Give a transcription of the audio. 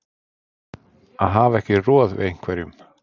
Að hafa ekki roð við einhverjum